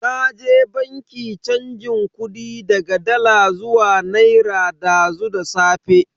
Naje banki chanjin kudi daga dala zuwa naira dazu da safe.